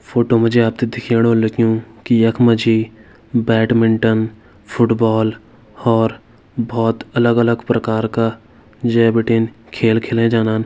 photo में जो आपने देखियोडो लेकिन एक मजी बैडमिंटन फुटबॉल और बहुत अलग-अलग प्रकार का जय भिटनी खेल खेलन जानन--